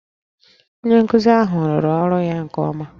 Onye nkuzi ahụ rụrụ ọrụ ya nke ọma